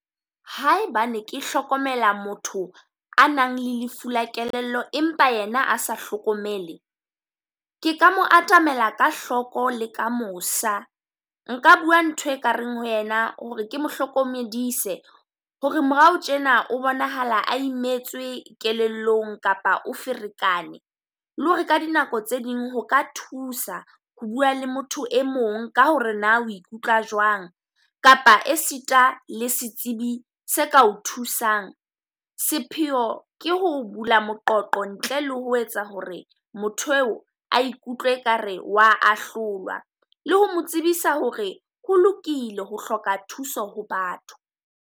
Ha ebane ke hlokomela motho a nang le lefu la kelello, empa yena a sa hlokomele. Ke ka mo atamela ka hloko le ka mosa. Nka bua ntho e kareng ho yena ho re ke mohlokomedise. Ho re morao tjena o bonahala a imetswe kelellong, kapa o ferekane lo ho re ka dinako tse ding ho ka thusa ho bua le motho e mong ka ho re na o ikutlwa jwang, kapa e sita le setsibi se ka o thusang. Sepheo ke ho bula moqoqo ntle le ho etsa ho re motho eo a ikutlwe ekare o wa ahlolwa. Le ho mo tsebisa ho re ho lokile ho hloka thuso ho batho.